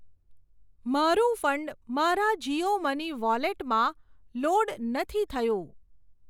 મારું ફંડ મારા જીઓ મની વોલેટમાં લોડ નથી થયું.